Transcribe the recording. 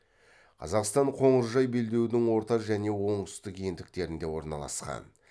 қазақстан қоңыржай белдеудің орта және оңтүстік ендіктерінде орналасқан